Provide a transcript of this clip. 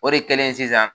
O de kɛlen sisan